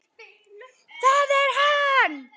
ÞAÐ ER HANN!